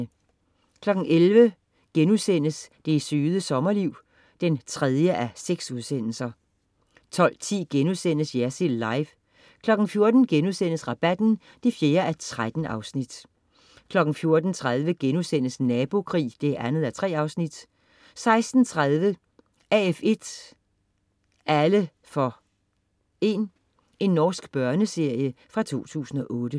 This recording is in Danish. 11.00 Det Søde Sommerliv 3:6* 12.10 Jersild Live* 14.00 Rabatten 4:13* 14.30 Nabokrig 2:3* 16.30 AF1 alle for 1. Norsk børneserie fra 2008